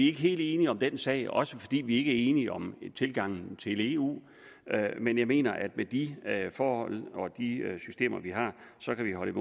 ikke helt enige om den sag også fordi vi ikke enige om tilgangen til eu men jeg mener at med de forhold og de systemer vi har så kan vi holde